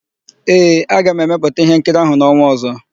Ee, aga m emepụta íhénkiri áhụ̀ n'ọnwa ọ̀zọ́.